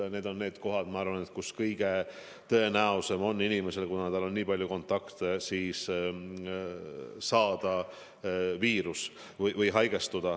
Need on need valdkonnad, kus minu arvates on kõige tõenäolisem saada viirus või haigestuda, kuna on nii palju kontakte.